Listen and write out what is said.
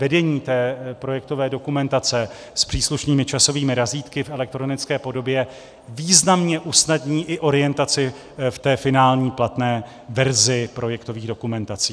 Vedení té projektové dokumentace s příslušnými časovými razítky v elektronické podobě významně usnadní i orientaci v té finální platné verzi projektových dokumentací.